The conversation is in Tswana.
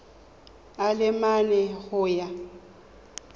a le mane go ya